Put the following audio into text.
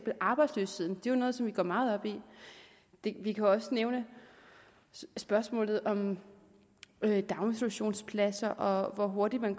er arbejdsløsheden jo noget vi går meget op i vi kan også nævne spørgsmålet om daginstitutionspladser og hvor hurtigt man